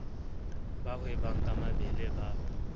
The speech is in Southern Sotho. ba hwebang ka mebele ba